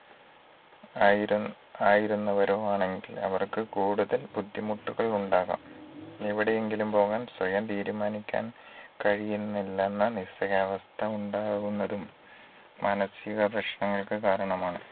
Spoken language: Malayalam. ആയിരു ആയിരുന്നവരോ ആണെങ്കിൽ അവർക്ക് കൂടുതൽ ബുദ്ധിമുട്ടുകൾ ഉണ്ടാകാം എവിടെയെങ്കിലും പോവ്വാൻ സ്വയം തീരുമാനിക്കാൻ കഴിയുന്നില്ലെന്ന നിസ്സഹായാവസ്ഥ ഉണ്ടാവുന്നതും മാനസിക പ്രശ്നങ്ങൾക്ക് കാരണമാണ്